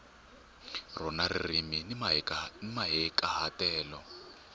rona ririmi ni mahikahatelo